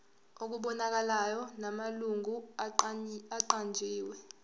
okubonakalayo namalungu aqanjiwe